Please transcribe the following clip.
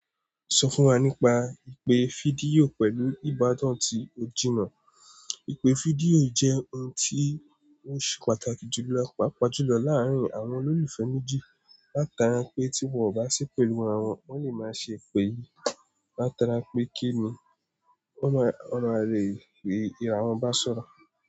Sọ fún wa nípa ìpè fídíò pẹ̀lú ìbátán tí o jìnnà. Ìpè fídíò jẹ́ ohun tí ó ṣe pàtàkì jù lọ papajùlọ láàárín àwọn olólùfẹ́ méjì. Látara pé tí wọ́n ò bá sì pẹ̀lú aravwọn, wọ́n lè máa ṣe ìpè yìí. Látara pé kínni wọ̀n mà le rí ìràwọ̀n bá sọ̀rọ̀.